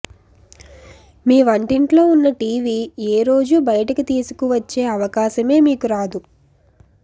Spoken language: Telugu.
మీ వంటింట్లో ఉన్న టీవీ ఏ రోజుబయటికి తీసుకువచ్చే అవకాశమే మీకు రాదు